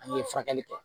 An ye furakɛli kɛ